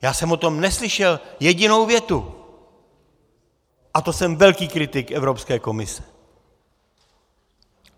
Já jsem o tom neslyšel jedinou větu, a to jsem velký kritik Evropské komise.